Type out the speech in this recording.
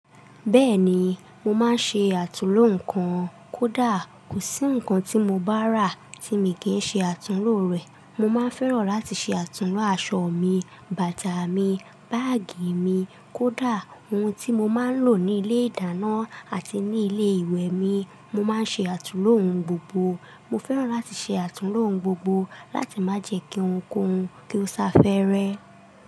Bẹ́ẹ̀ni, mo máa ń ṣe àtúnlo nnkan. Kódà kò sí nnkan tí mo bá rà tí mi kì í ṣe àtúnlo rẹ̀. Mo máa ń fẹ́ràn láti ṣe àtúnlo aṣọ mi, bàtà mi, báàgì mi, kódà ohun tí mo máa ń lò ní ilé-ìdáná àti ní ilé-ìwẹ̀ mi. Mo máa ń ṣe àtúnlo ohun gbogbo. Mo fẹ́ràn láti ṣe àtúnlo ohun gbogbo láti má jẹ kí ohun koún, kí ó sá fẹ́rẹ́